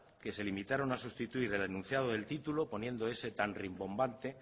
que se limitaron a sustituir el enunciado del título poniendo ese tan rimbombante